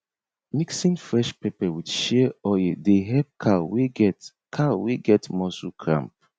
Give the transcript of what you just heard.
mixing fresh pepper with shea oil dey help cow wey get cow wey get muscle cramp